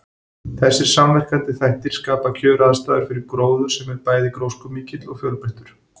Þessir samverkandi þættir skapa kjöraðstæður fyrir gróður sem er bæði gróskumikill og fjölbreyttur.